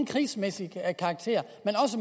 krigsmæssig karakter